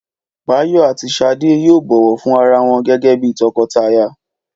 Báyọ̀ àti Ṣadé yóò bọ̀wọ̀ fún ara wọn gẹ́gẹ́bíi tọkọtaya